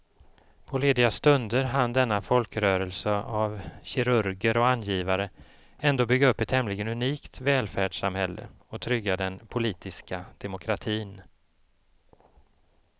På lediga stunder hann denna folkrörelse av kirurger och angivare ändå bygga upp ett tämligen unikt välfärdssamhälle och trygga den politiska demokratin.